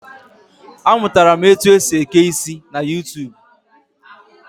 A mụtara m otu esi eke isi na YuuTuub